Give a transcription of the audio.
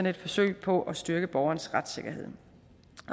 et forsøg på at styrke borgerens retssikkerhed